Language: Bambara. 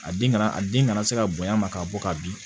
A den kana a den kana se ka bonya a ma ka bɔ ka bin